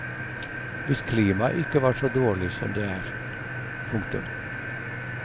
Hvis klimaet ikke var så dårlig som det er. punktum